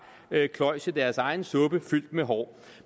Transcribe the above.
kløjes i deres egen suppe fyldt med hår